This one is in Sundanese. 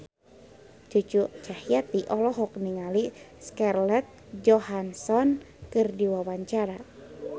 Cucu Cahyati olohok ningali Scarlett Johansson keur diwawancara